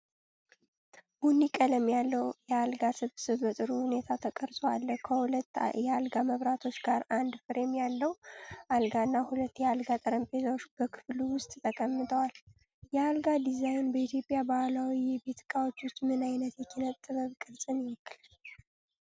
ቡኒ ቀለም ያለው የአልጋ ስብስብ በጥሩ ሁኔታ ተቀርጾ አለ። ከሁለት የአልጋ መብራቶች ጋር አንድ ፍሬም ያለው አልጋና ሁለት የአልጋ ጠረጴዛዎች በክፍሉ ውስጥ ተቀምጠዋል። የአልጋ ዲዛይን በኢትዮጵያ ባህላዊ የቤት ዕቃዎች ውስጥ ምን ዓይነት የኪነ-ጥበብ ቅርጽን ይወክላል?